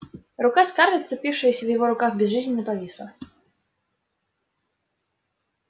рука скарлетт вцепившаяся в его рукав безжизненно повисла